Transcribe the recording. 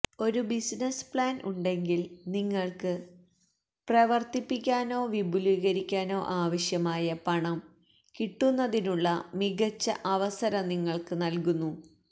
ഒരു business plan ഉണ്ടെങ്കിൽ നിങ്ങൾക്ക് പ്രവർത്തിപ്പിക്കാനോ വിപുലീകരിക്കാനോ ആവശ്യമായ പണം കിട്ടുന്നതിനുള്ള മികച്ച അവസരം നിങ്ങൾക്ക് നൽകുന്നു